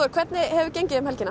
hvernig hefur gengið um helgina